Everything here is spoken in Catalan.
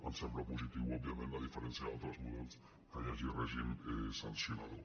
ens sembla positiu òbviament a diferència d’altres models que hi hagi règim sancionador